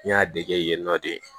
N y'a dege yen nɔ de